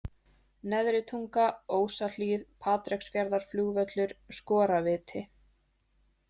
Neðri-Tunga, Ósahlíð, Patreksfjarðarflugvöllur, Skorarviti